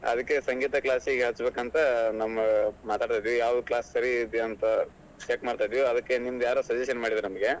ಅದಕ್ಕೆ ಸಂಗೀತ class ಗೆ ಹಚ್ಬೇಕಂತ ನಮ್ಮಮಾತಾಡೇವಿ ಯಾವ್ class ಸರಿ ಇದೆ ಅಂತ check ಮಾಡ್ತಾ ಇದೀವಿ ಅದಕ್ಕೆ ನಿಮ್ದ್ ಯಾರೋ suggestion ಮಾಡಿದ್ರು ನಮ್ಗೆ.